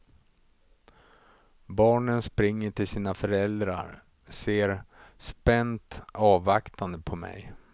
Barnen springer till sina föräldrar, ser spänt avvaktande på mig.